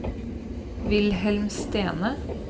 Wilhelm Stene